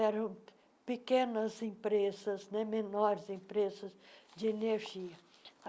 Eram pequenas empresas, né menores empresas de energia.